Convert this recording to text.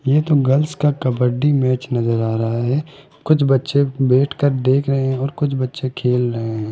ये तो गर्ल्स का कबड्डी मैच नजर आ रहा है कुछ बच्चे बैठकर देख रहे हैं और कुछ बच्चे खेल रहे हैं।